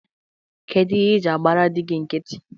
Kedu ihe ị ji agbara dị gị nkiti?